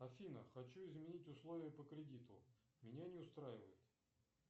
афина хочу изменить условия по кредиту меня не устраивает